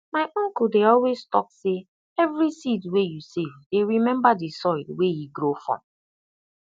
my uncle dey always talk say every seed wey you save dey remember the soil wey e grow from